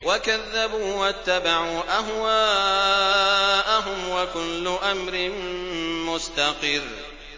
وَكَذَّبُوا وَاتَّبَعُوا أَهْوَاءَهُمْ ۚ وَكُلُّ أَمْرٍ مُّسْتَقِرٌّ